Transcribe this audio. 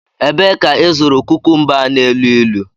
Ebee ka ịzụrụ kukumba a na-elu ilu?